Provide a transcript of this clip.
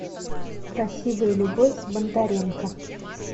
красивая любовь с бондаренко